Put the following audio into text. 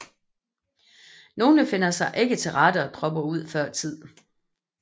Nogle finder sig ikke til rette og dropper ud før tid